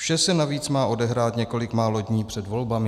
Vše se navíc má odehrát několik málo dní před volbami.